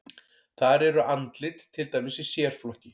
Þar eru andlit til dæmis í sérflokki.